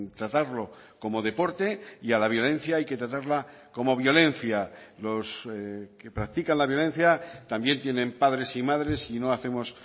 tratarlo como deporte y a la violencia hay que tratarla como violencia los que practican la violencia también tienen padres y madres y no hacemos